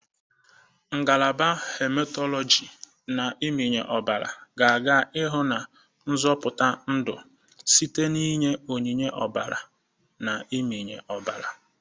Ngalaba hematologi na mmịnye ọbara ga-aga n'ihu na-azọpụta ndụ site na inye onyinye ọbara na mmịnye ọbara.